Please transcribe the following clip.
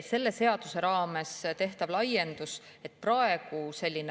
Selle seaduse raames tehakse laiendus.